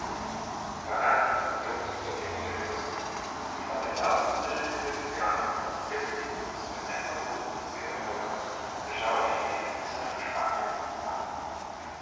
Varadi podrobnosti o tem ni želel razkriti, je pa dejal, da želijo Ljubljano povezati predvsem z zahodno in severno Evropo, državami Beneluksa, Španijo in Italijo.